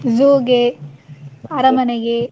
Zoo ಗೆ, ಅರಮನೆಗೆ.